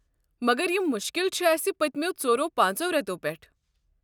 مگر یم مُشکل چھ اسہِ پتِمٮ۪و ژۄرو پانژو رٮ۪تو پٮ۪ٹھہٕ۔